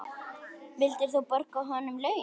Vildir þú borga honum laun?